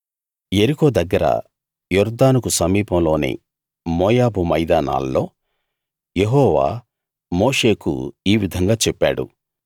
యెరికో దగ్గర యొర్దానుకు సమీపంలోని మోయాబు మైదానాల్లో యెహోవా మోషేకు ఈ విధంగా చెప్పాడు